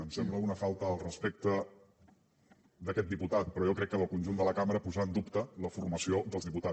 em sembla una falta al respecte d’aquest diputat però jo crec que del conjunt de la cambra posar en dubte la formació dels diputats